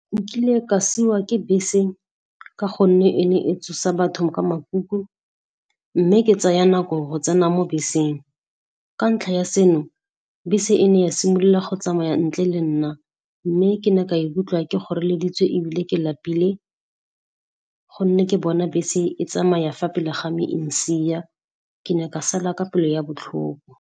Nkile ka siiwa ke bese ka gonne e ne e tsosa batho ka makuku, mme ke tsaya nako go tsena mo beseng. Ka ntlha ya seno, bese e ne ya simolola go tsamaya ntle le nna, mme ke ne ka ikutlwa ke kgoreleditswe ebile ke lapile gonne ke bona bese e tsamaya fa pele ga me, e ntshiya. Ke ne ka sala ka pelo ya botlhoko.